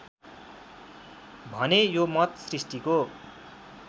भने यो मत सृष्टिको